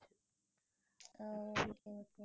ஆஹ்